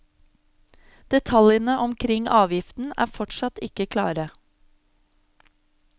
Detaljene omkring avgiften er fortsatt ikke klare.